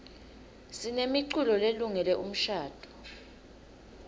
sinemiculo lelungele umshadvo